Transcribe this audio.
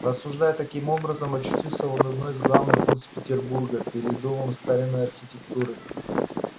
рассуждая таким образом очутился он в одной из главных улиц петербурга переддомом старинной архитектуры